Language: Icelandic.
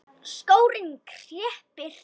Skórinn kreppir